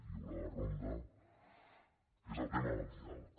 hi haurà la ronda que és el tema del diàleg